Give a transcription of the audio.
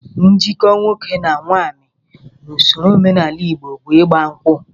Njikọ nwoke na nwaanyị n'ụsọro omenala Igbo bụ ịgba nkwụ